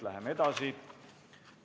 Läheme edasi.